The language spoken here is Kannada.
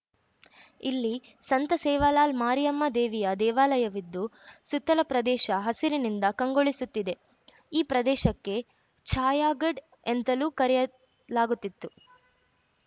ಇಲ್ಲಿ ಸಂತಸೇವಾಲಾಲ್‌ ಮಾರಿಯಮ್ಮ ದೇವಿಯ ದೇವಾಲಯವಿದ್ದು ಸುತ್ತಲ ಪ್ರದೇಶ ಹಸಿರಿನಿಂದ ಕಂಗೊಳಿಸುತ್ತಿದೆ ಈ ಪ್ರದೇಶಕ್ಕೆ ಛಾಯಾಗಡ್‌ ಎಂತಲೂ ಕರೆಯಲಾಗುತ್ತಿದೆ